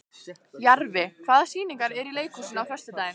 Jarfi, hvaða sýningar eru í leikhúsinu á föstudaginn?